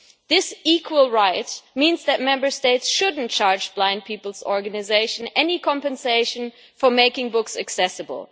This equal right means that Member States should not charge blind people's organisation any compensation for making books accessible.